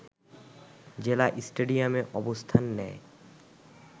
জেলা স্টেডিয়ামে অবস্থান নেয়